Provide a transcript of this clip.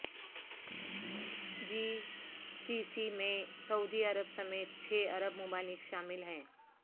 جی C C میں سعودی عرب سمیت چھ عرب ممالک شامل ہیں